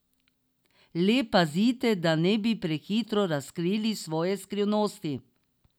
Le pazite, da ne bi prehitro razkrili svoje skrivnosti.